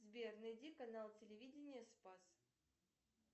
сбер найди канал телевидение спас